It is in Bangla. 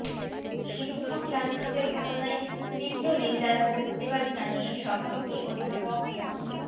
শিক্ষক লাঞ্ছিতের ঘটনার তীব্র নিন্দা ও প্রতিবাদ জানিয়ে সভাপতি অধ্যাপক মো